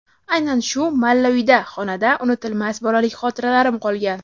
Aynan shu malla uyda (xonada) unutilmas bolalik xotiralarim qolgan.